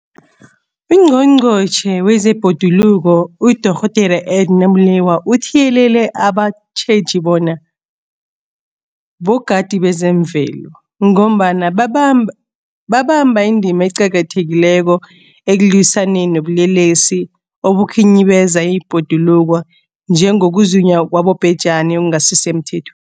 UNgqongqotjhe wezeBhoduluko uDorh Edna Molewa uthiyelele abatjheji bona bogadi bezemvelo, ngombana babamba indima eqakathekileko ekulwisaneni nobulelesi obukhinyabeza ibhoduluko, njengokuzunywa kwabobhejani okungasisemthethweni.